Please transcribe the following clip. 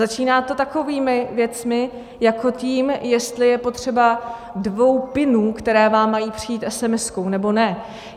Začíná to takovými věcmi jako tím, jestli je potřeba dvou pinů, které vám mají přijít SMS, nebo ne.